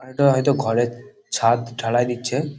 এটা হয়তো ঘরের ছাদ ঢালাই দিচ্ছে।